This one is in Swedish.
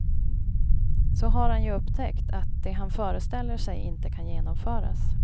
Så har han ju upptäckt att det han föreställer sig inte kan genomföras.